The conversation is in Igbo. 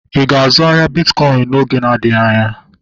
Ịga azụ ahịa bitkọin oge na-adịghị anya?